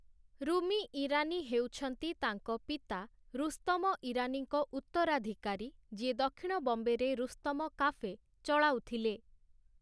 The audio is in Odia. ରୁମି ଇରାନୀ ହେଉଛନ୍ତି ତାଙ୍କ ପିତା, ରୁସ୍ତମ ଇରାନୀଙ୍କ ଉତ୍ତରାଧିକାରୀ, ଯିଏ ଦକ୍ଷିଣ ବମ୍ବେରେ ରୁସ୍ତମ କାଫେ ଚଳାଉଥିଲେ ।